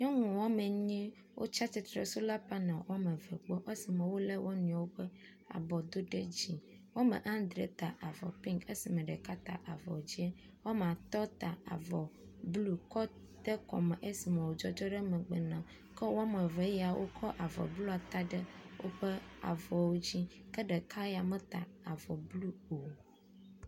Nyɔnu woamenyi wotsia tsitre ɖe sola paneli woameve gbɔ esime wolé wo nɔewo ƒe abɔ do ɖe dzi. Woamadre ta avɔ pink esime ɖeka ta avɔ dzĩ. Woamatɔ̃ ta avɔ blɔ kɔ de kɔme esime wodzɔdzɔ ɖe megbe na wok e woameve wokɔ avɔ blɔ ta ɖe woƒe avɔwo dzi. Ke ɖeka ya meta avɔ blɔ o.